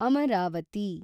Amaravati